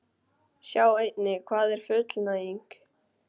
Sjá einnig: Hvað er fullnæging?